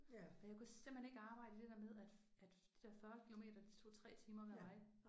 Og jeg kunne simpelthen ikke arbejde i det der med at at de der 40 kilometer de tog 3 timer hver vej